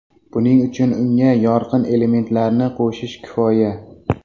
Buning uchun unga yorqin elementlarni qo‘shish kifoya.